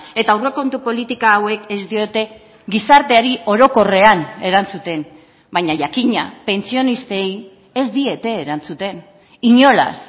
eta aurrekontu politika hauek ez diote gizarteari orokorrean erantzuten baina jakina pentsionistei ez diete erantzuten inolaz